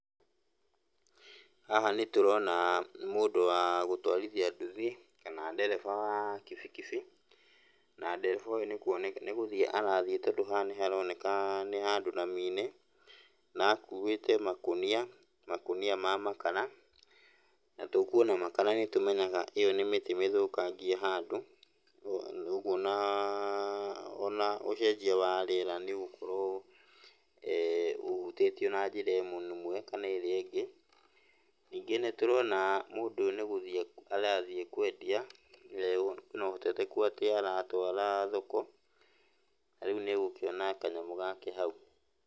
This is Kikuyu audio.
Haha nĩtũrona mũndũ wa gũtwarithia nduthi, kana ndereba wa kibikibi, na ndereba ũyũ nĩgũthiĩ arathiĩ tondũ haha nĩ haroneka nĩ handũ rami-inĩ, na akuĩte makũnia, makũnia ma makara. Na tũkuona makara nĩtũmenyaga ĩyo nĩ mĩtĩ mĩthũkangie handũ, ũguo na ona ũcenjia wa rĩera nĩũgũkorwo ũhutĩtio na njĩra ĩmwe kana ĩrĩa ĩngĩ. Ningĩ nĩtũrona mũndũ ũyũ nĩgũthiĩ arathiĩ kwendia, kwĩna ũheteteku atĩ aratwara thoko, na rĩu nĩegũkĩona kanyamũ gake hau.